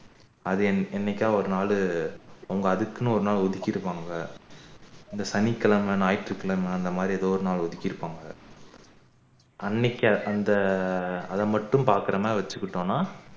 அது என்னைக்காவது ஒரு நாளு அவங்க அதுக்குன்னு ஒரு நாள் ஒதுக்கி இருப்பாங்க இந்த சனிக்கிழமை ஞாயிற்றுகிழமை அந்தமாறி ஏதோ ஒரு நாள் ஒதுக்கி இருப்பாங்க அன்னைக்கு அந்த அத மட்டும் பாக்குற மாறி வச்சிக்கிட்டோம்னா